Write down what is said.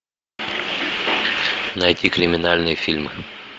найти криминальный фильм